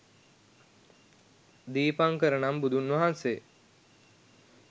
දීපංකර නම් බුදුන් වහන්සේ